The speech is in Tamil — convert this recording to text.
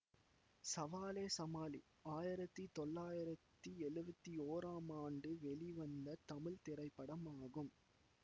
சவாலே சமாளி ஆயிரத்தி தொள்ளாயிரத்தி எழுவத்தி ஒராம் ஆண்டு வெளிவந்த தமிழ் திரைப்படமாகும்